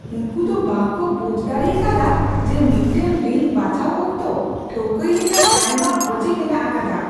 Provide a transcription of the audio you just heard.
ᱩᱱᱠᱩ ᱫᱚ ᱵᱟᱝ ᱠᱚ ᱵᱩᱡ ᱫᱟᱲᱮ ᱟᱠᱟᱫᱟ ᱡᱮ ᱢᱤᱫᱴᱟᱝ ᱨᱤᱱ ᱵᱟᱪᱷᱟᱣ ᱚᱠᱛᱚ ᱴᱷᱟᱹᱣᱠᱟᱹᱭ ᱞᱮᱠᱟᱱ ᱟᱭᱢᱟ ᱚᱡᱮ ᱢᱮᱱᱟᱜ ᱟᱠᱟᱫᱟ !